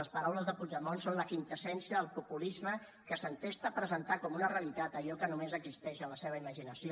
les paraules de puigdemont són la quinta essència del populisme que s’entesta a presentar com una realitat allò que només existeix en la seva imaginació